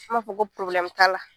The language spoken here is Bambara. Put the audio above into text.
An b'a fɔ ta la.